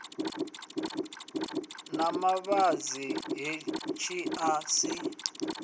na mavhadzi hetshi a si